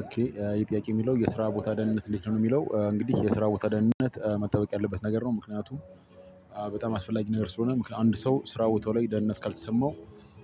ኦኬ ይህ ጥያቄ የሚለው የስራ ቦታ ደህንነት እንዴት ነው? የሚለው እንግዲህ የስራ ቦታ ደህንነት መጠበቅ ያለበት ነገር ነው ምክንያቱም በጣም አስፈላጊ ነገር ስለሆነ። አንድ ሰው ስራው ቦታው ላይ ደህንነት ካልተሰማው